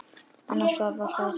Anna Svava hlær hátt.